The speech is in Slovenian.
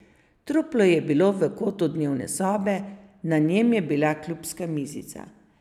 Truplo je bilo v kotu dnevne sobe, na njem je bila klubska mizica.